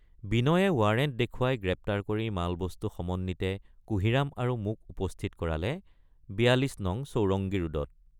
বিনয়ে warrant দেখুৱাই গ্ৰেপ্তাৰ কৰি মালবস্তু সমন্বিতে কুঁহিৰাম আৰু মোক উপস্থিত কৰালে ৪২ নং চৌৰঙ্গী ৰোডত।